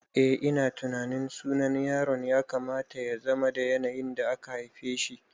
Eh ina tunanin sunan yaro ya kamata yazama da yanayin da aka haifeshi